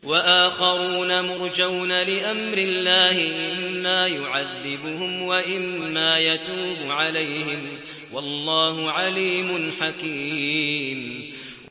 وَآخَرُونَ مُرْجَوْنَ لِأَمْرِ اللَّهِ إِمَّا يُعَذِّبُهُمْ وَإِمَّا يَتُوبُ عَلَيْهِمْ ۗ وَاللَّهُ عَلِيمٌ حَكِيمٌ